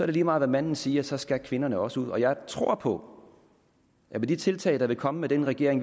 det lige meget hvad manden siger så skal kvinderne også ud jeg tror på at med de tiltag der vil komme med den regering